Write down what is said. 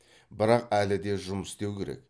бірақ әлі де жұмыс істеу керек